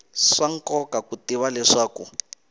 swa nkoka ku tiva leswaku